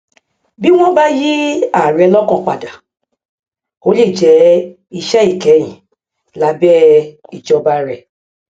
bí wọn bá yí ààrẹ lọkàn padà ó lè jẹ iṣẹ ìkẹhín lábẹ ìjọba rẹ